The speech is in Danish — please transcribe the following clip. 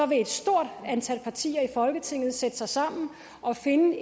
vil et stort antal partier i folketinget sætte sig sammen og finde